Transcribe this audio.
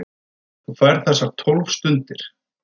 Þú færð þessar tólf stundir.